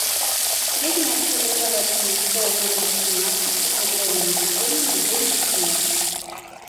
средняя общеобразовательная школа номер восемнадцать с углубленным изучением отдельных предметов